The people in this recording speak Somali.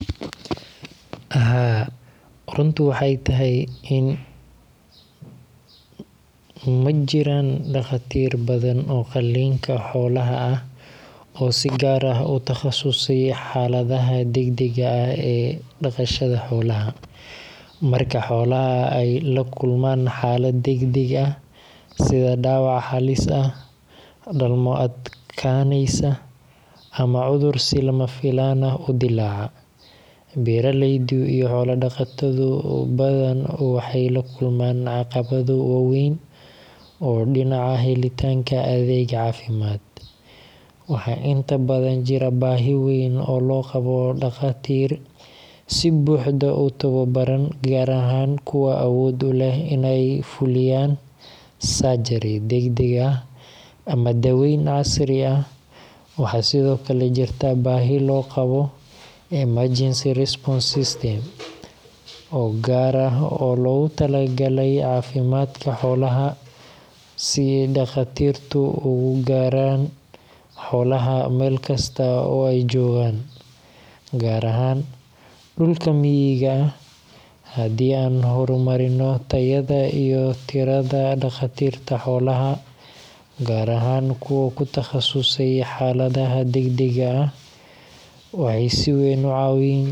Haa, runtu waxay tahay in ma jiraan dhakhaatiir badan oo qaliinka xoolaha ah oo si gaar ah u takhasusay xaaladaha degdega ah ee dhaqashada xoolaha. Marka xoolo ay la kulmaan xaalad degdeg ah sida dhaawac halis ah, dhalmo adkaanaysa, ama cudur si lama filaan ah u dilaaca, beeraleydu iyo xoolo dhaqato badan waxay la kulmaan caqabado waaweyn oo dhinaca helitaanka adeeg caafimaad. Waxaa inta badan jira baahi weyn oo loo qabo dhakhaatiir si buuxda u tababaran, gaar ahaan kuwa awood u leh inay fuliyaan surgery degdeg ah ama daaweyn casri ah. Waxaa sidoo kale jirta baahi loo qabo emergency response system oo gaar ah oo loogu talagalay caafimaadka xoolaha, si dhakhaatiirtu ugu gaaraan xoolaha meel kasta oo ay joogaan, gaar ahaan dhulka miyiga ah. Haddii aan horumarinno tayada iyo tirada dhakhaatiirta xoolaha, gaar ahaan kuwa ku takhasusay xaaladaha degdega ah, waxay si weyn u caawin.